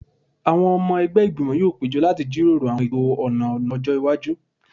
Àwọn ọmọ ẹgbẹ́ Ìgbìmọ̀ yóò péjọ láti jíròrò àwọn ètò ọ̀nà ọ̀nà ọjọ́ iwájú